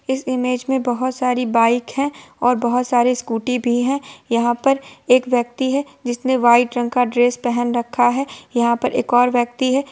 इस इमेज में बहुत सारे बाइक भी है और स्कूटी भी है। यहाँ पर एक व्यक्ति है जिसने वाइट कलर का ड्रेस पहन रखा है| यहाँ पर एक और व्यक्ति है|